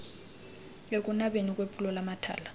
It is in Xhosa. ekunabeni kwephulo lamathala